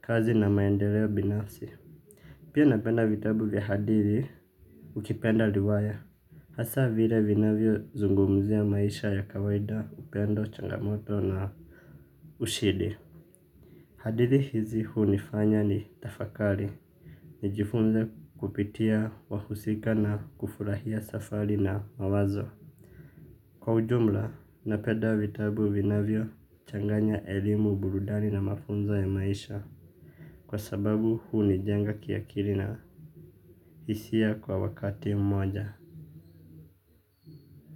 Kazi na maendeleo binafsi. Pia napenda vitabu vya hadithi. Ukipenda riwaya hasa vile vinavyo zungumzia maisha ya kawaida upendo changamoto na ushindi. Hadithi hizi hunifanya ni tafakari nijifunze kupitia wahusika na kufurahia safari na mawazo. Kwa ujumla napenda vitabu vinavyo changanya elimu burudani na mafunzo ya maisha kwa sababu hunijenga ki akili na hisia kwa wakati mmoja.